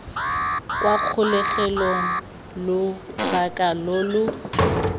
kwa kgolegelong lobaka lo lo